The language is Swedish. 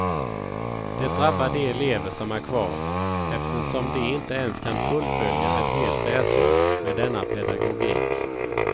Det drabbar de elever som är kvar, eftersom de inte ens kan fullfölja ett helt läsår med denna pedagogik.